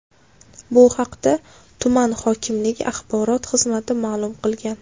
Bu haqda tuman hokimligi axborot xizmati ma’lum qilgan .